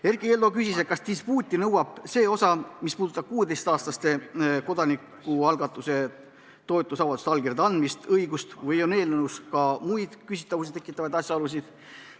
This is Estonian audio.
Erkki Keldo küsis, kas dispuuti nõuaks see osa, mis puudutab 16-aastaste õigust kodanikualgatust toetusavaldusele allkirja andmisega toetada, või on eelnõus ka muid küsimusi tekitavaid asjaolusid.